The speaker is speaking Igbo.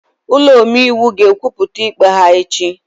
Ụlọ omeiwu ga-ekwupụta ikpe ha echi